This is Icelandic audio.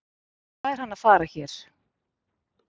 Hvað er hann að fara hér?